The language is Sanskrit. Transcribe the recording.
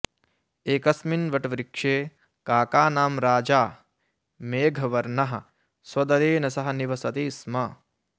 एकस्मिन् वटवृक्षे काकानां राजा मेघवर्णः स्वदलेन सह निवसति स्म